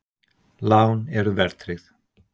Lán eru verðtryggð!